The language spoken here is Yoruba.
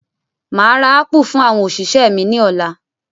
Máa ra ápù fún àwọn òṣìṣẹ́ mi ni ọ̀la.